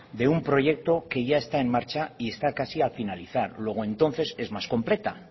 de un proyecto que ya está en marcha y está casi a finalizar luego entonces es más completa